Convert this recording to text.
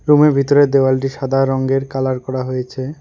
রুমের ভিতরের দেওয়ালটি সাদা রংগের কালার করা হয়েছে।